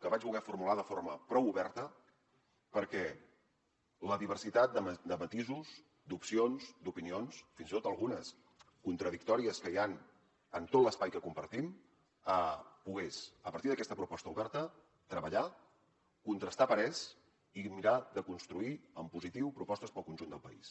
que vaig voler formular de forma prou oberta perquè la diversitat de matisos d’opcions d’opinions fins i tot algunes contradictòries que hi han en tot l’espai que compartim pogués a partir d’aquesta proposta oberta treballar contrastar parers i mirar de construir en positiu propostes per al conjunt del país